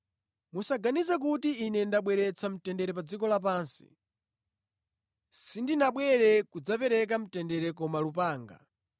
“Musaganize kuti Ine ndabweretsa mtendere pa dziko lapansi. Sindinabwere kudzapereka mtendere koma lupanga.